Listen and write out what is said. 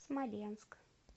смоленск